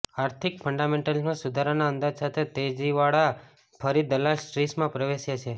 આર્થિક ફંડામેન્ટલ્સમાં સુધારાના અંદાજ સાથે તેજીવાળા ફરી દલાલ સ્ટ્રીટમાં પ્રવેશ્યા છે